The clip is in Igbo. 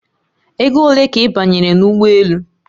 Ego ole ka ị banyere n'ụgbọelu?